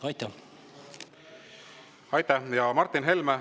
Martin Helme, palun!